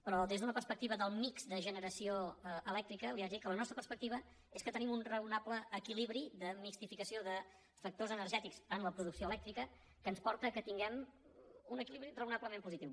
però des d’una perspectiva del mix de generació elèctrica li haig de dir que la nostra perspectiva és que tenim un raonable equilibri de mixtificació de factors energètics en la producció elèctrica que ens porta que tinguem un equilibri raonablement positiu